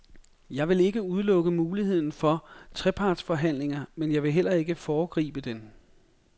Jeg vil ikke udelukke muligheden for trepartsforhandlinger, men jeg vil heller ikke foregribe den.